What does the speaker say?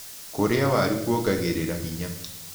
Kũrĩa warũ kwongagĩrĩra hinya